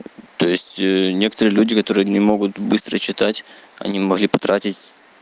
то есть некоторые люди которые не могут быстро читать они могли потратить